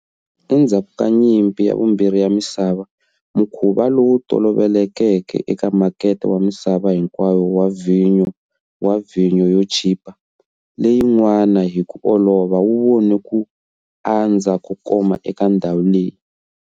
Endzhaku ka Nyimpi ya Vumbirhi ya Misava, mukhuva lowu tolovelekeke eka makete wa misava hinkwayo wa vhinyo wa vhinyo yo chipa, leyi nwaka hi ku olova wu vone ku andza ko koma eka ndhawu leyi.